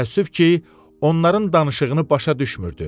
Təəssüf ki, onların danışığını başa düşmürdü.